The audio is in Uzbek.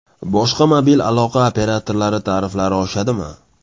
Boshqa mobil aloqa operatorlari tariflari oshadimi?